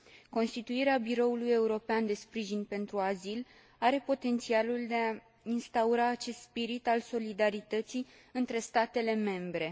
Constituirea Biroului European de Sprijin pentru Azil are potențialul de a instaura acest spirit al solidarității între statele membre.